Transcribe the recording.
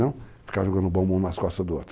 Não ficar jogando bombom nas costas do outro.